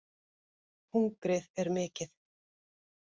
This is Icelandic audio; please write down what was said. Hungrið er mikið